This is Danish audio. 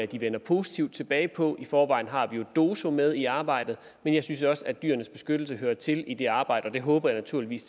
de vender positivt tilbage på i forvejen har vi jo doso med i arbejdet men jeg synes også at dyrenes beskyttelse hører til i det arbejde og det håber jeg naturligvis